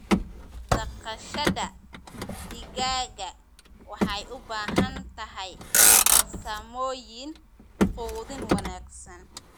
Dhaqashada digaaga waxay u baahan tahay farsamooyin quudin wanaagsan.